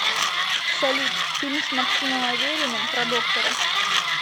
салют фильм с максимом авериным про доктора